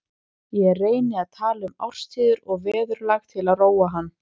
Ég reyni að tala um árstíðir og veðurlag til að róa hann.